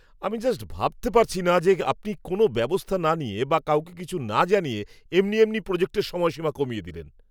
আমি জাস্ট ভাবতে পারছি না যে আপনি কোনো ব্যবস্থা না নিয়ে বা কাউকে কিছু না জানিয়ে এমনি এমনি প্রজেক্টের সময়সীমা কমিয়ে দিলেন!